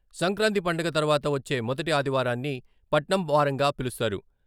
సంక్రాంతి పండగ తర్వాత వచ్చే మొదటి ఆదివారాన్ని పట్నం వారంగా పిలుస్తారు.